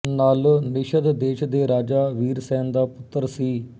ਨਲ ਨਿਸ਼ਦ ਦੇਸ਼ ਦੇ ਰਾਜਾ ਵੀਰਸੈਨ ਦਾ ਪੁੱਤਰ ਸੀ